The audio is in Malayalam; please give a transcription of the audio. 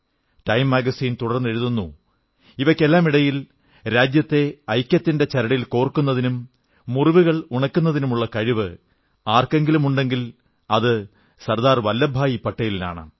ടൈം മാഗസിൻ തുടർന്നെഴുതുന്നു ഇവയ്ക്കെല്ലാമിടയിൽ രാജ്യത്തെ ഐക്യത്തിന്റെ ചരടിൽ കോർക്കുന്നതിനും മുറിവുകൾ ഉണക്കുന്നതിനുമുള്ള കഴിവ് ആർക്കെങ്കിലുമുണ്ടെങ്കിൽ അത് സർദാർ വല്ലഭഭായി പട്ടേലിനാണ്